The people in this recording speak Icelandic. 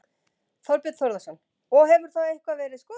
Þorbjörn Þórðarson: Og hefur það eitthvað verið skoðað?